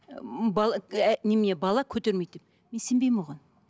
бала көтермейді деп мен сенбеймін оған